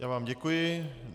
Já vám děkuji.